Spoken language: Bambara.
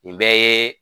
Nin bɛɛ ye